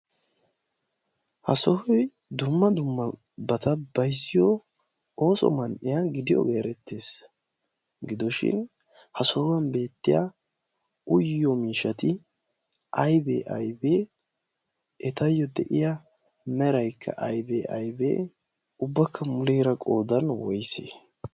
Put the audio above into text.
ha sohoy dumma dumma bata bayzziyo ooso mandhiya gidiyoogee erettees. gidooshin ha sohuwan beettiya uyyo miishati aibee aibee etayyo de'iya meraykka aibee aibe ubbakka muleera qoodan woysee?